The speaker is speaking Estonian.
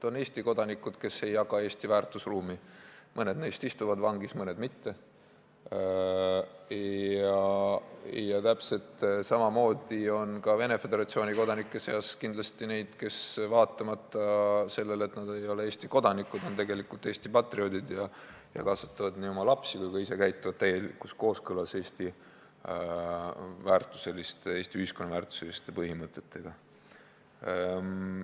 On Eesti kodanikke, kes ei jaga Eesti väärtusruumi, mõned neist istuvad vangis, mõned mitte, ja täpselt samamoodi on ka Venemaa Föderatsiooni kodanike seas kindlasti neid, kes vaatamata sellele, et nad ei ole Eesti kodanikud, on tegelikult Eesti patrioodid ning kasvatavad oma lapsi ja käituvad ka ise täielikus kooskõlas Eesti ühiskonna väärtuseliste põhimõtetega.